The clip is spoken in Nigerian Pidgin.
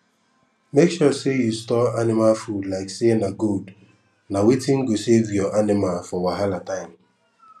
make sure say you store anima food like say na gold na wetin go save your anima for wahala time